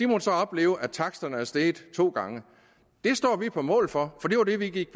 måttet opleve at taksterne er steget to gange det står vi på mål for for det var det vi gik